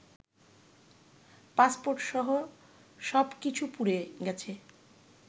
পাসপোর্টসহ সব কিছু পুড়ে গেছে